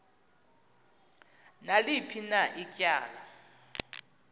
naliphi na ityala